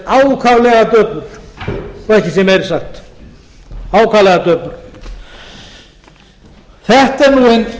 ákaflega döpur svo ekki sé meira sagt ákaflega döpur þetta er nú